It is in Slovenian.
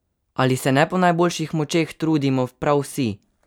Ali se ne po najboljših močeh trudimo prav vsi?